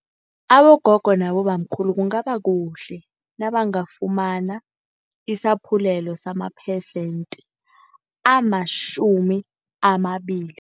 Abogogo nabobamkhulu kungaba kuhle nabangafumana isaphulelo samaphesente amatjhumi amabili.